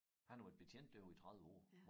Han havde været betjent derude i 30 år